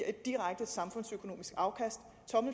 direkte samfundsøkonomisk afkast